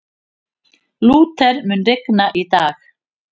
Lúther, mun rigna í dag?